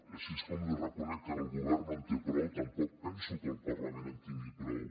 així com li reconec que el govern no en té prou tampoc penso que el parlament en tingui prou